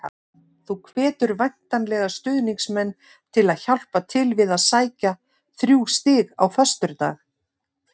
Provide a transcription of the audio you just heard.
Þú hvetur væntanlega stuðningsmenn til að hjálpa til við að sækja þrjú stig á föstudag?